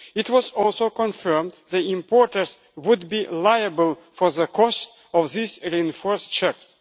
It was also confirmed that importers would be liable for the cost of these reinforced checks.